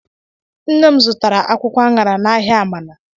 Nne m zụtara akwụkwọ aṅara n'ahịa Amana.